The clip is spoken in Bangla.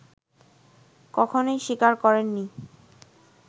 কখনোই স্বীকার করেননি